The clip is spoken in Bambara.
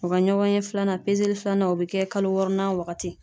U ka ɲɔgɔn ye filanan pezeli filanan o bɛ kɛ kalo wɔɔrɔnan wagati.